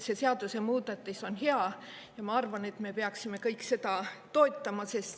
See seadusemuudatus on hea ja ma arvan, et me peaksime kõik seda toetama.